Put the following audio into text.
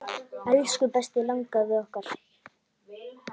Elsku besti langafi okkar.